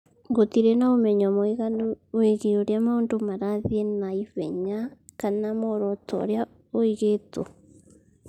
Gũtirĩ na ũmenyo mũiganu wĩgiĩ ũrĩa maũndũ marathiĩ na ihenya kana muoroto ũrĩa ũigĩtwo.